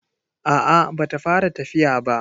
A'a ba ta fara tafiya ba.